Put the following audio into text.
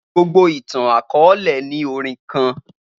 Gbogbo itan-akọọlẹ ni orin kan